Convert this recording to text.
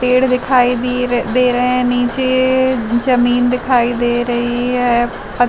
पेड़ दिखाई दिए दे रहे हैं। नीचे जमीन दिखाई दे रही है पत --